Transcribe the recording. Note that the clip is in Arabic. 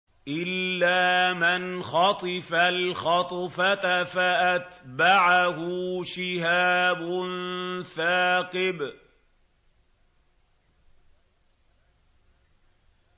إِلَّا مَنْ خَطِفَ الْخَطْفَةَ فَأَتْبَعَهُ شِهَابٌ ثَاقِبٌ